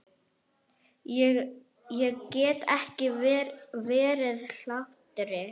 Ég get ekki varist hlátri.